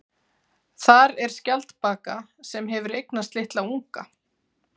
Þar er skjaldbaka sem hefur eignast litla unga.